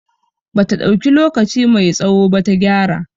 Bata dauki lokaci mai tsawo ba ta gyara